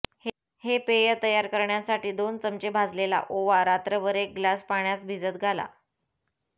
हे पेय तयार करण्यासाठी दोन चमचे भाजलेला ओवा रात्रभर एक ग्लास पाण्यास भिजल घाला